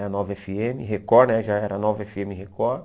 A nova efe eme Record, né já era a nova efe eme Record.